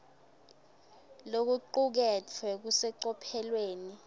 lokucuketfwe kusecophelweni